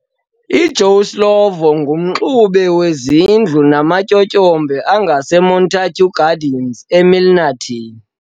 I Joe Slovo ngumxube weZindlu nama Tyotyombe angase Montague Gardens e Milnerton.